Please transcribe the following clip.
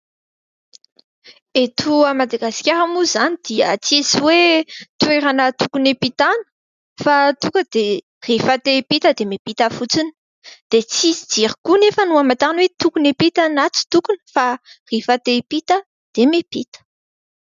Eto Madagasikara moa izany dia tsisy hoe : toerana tokony hiampitana fa tonga dia rehefa te hiampita dia miampita fotsiny, dia tsisy jiro koa anefa no hamatarana hoe : tokony hiampita na tsy tokony fa rehefa te hiampita dia miampita.